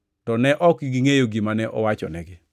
To ne ok gingʼeyo gima ne owachonegi.